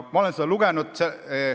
Ma olen seda lugenud.